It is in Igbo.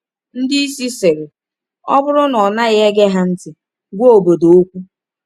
Ndị isi sịrị: “Ọ bụrụ na ọ naghị ege ha ntị, gwa obodo okwu.”